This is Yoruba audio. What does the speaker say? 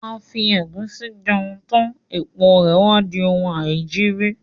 A fi ẹ̀gúsí jẹun tán, èpo rè wá di oun aìjiri.